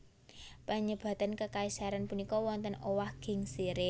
Panyebatan kekaisaran punika wonten owah gingsiré